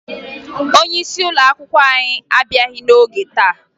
Onyeisi ụlọakwụkwọ anyị abịaghị n'ọge taa